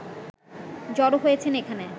জড়ো হয়েছেন এখানে